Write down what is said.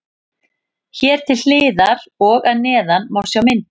Hér til hliðar og að neðan má sjá myndir.